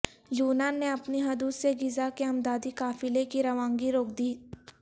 یونان نے اپنی حدود سے غزہ کے امدادی قافلے کی روانگی روک دی